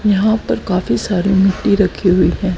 यहाँ पर काफी सारे मिट्टी रखी हुई हैं।